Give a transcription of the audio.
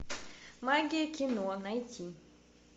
магия кино найти